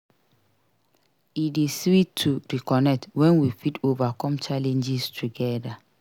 E dey sweet to reconnect when we fit overcome challenges together.